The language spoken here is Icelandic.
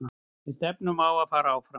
Við stefnum á að fara áfram.